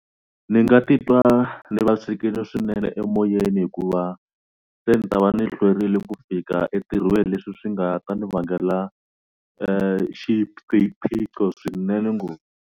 Ni nga titwa ni vavisekile swinene emoyeni hikuva se ni ta va ni hlwerile ku fika entirhweni leswi swi nga ta ni vangela swiphiqo swinene ngopfu.